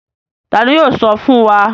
Tani yoo sọ fun wa?